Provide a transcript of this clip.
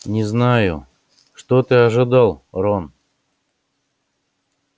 не знаю что ты ожидал рон